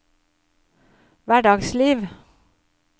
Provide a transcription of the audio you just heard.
hverdagsliv